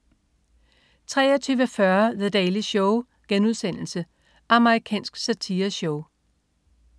23.40 The Daily Show.* Amerikansk satireshow